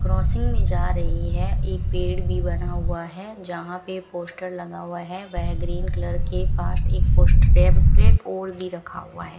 Crossing में जा रही है एक पेड़ भी बना हुआ है यहां पे पोस्टर लगा हुआ है वह ग्रीन कलर के पास एक पोस्टर टेम्पलेट और भी रखा हुआ है।